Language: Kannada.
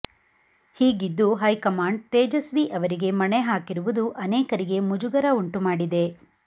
ಹೀಗಿದ್ದೂ ಹೈಕಮಾಂಡ್ ತೇಜಸ್ವಿ ಅವರಿಗೆ ಮಣೆ ಹಾಕಿರುವುದು ಅನೇಕರಿಗೆ ಮುಜುಗರ ಉಂಟುಮಾಡಿದೆ